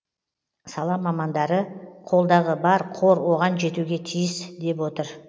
сала мамандары қолдағы бар қор оған жетуге тиіс деп отыр